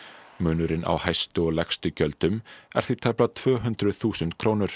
munurinn á hæstu og lægstu gjöldum er því tæplega tvö hundruð þúsund krónur